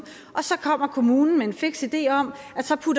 og så kommer kommunen med en fiks idé om